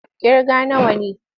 Ƙirga nawa ne!